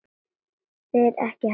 Þeir ekki heldur.